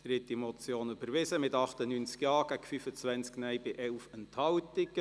Sie haben die Motion angenommen mit 98 Ja- gegen 25 Nein-Stimmen bei 11 Enthaltungen.